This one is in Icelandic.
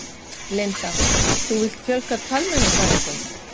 Linda: Þú vilt fjölga talmeinafræðingum?